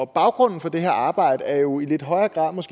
baggrunden for det her arbejde er jo i lidt højere grad